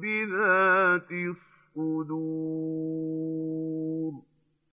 بِذَاتِ الصُّدُورِ